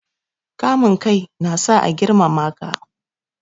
Kamun kai na sa a girmama ka.